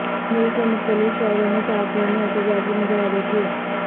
ملک کے مختلف شہروں میں صحافیوں نے احتجاجی مظاہرے کیے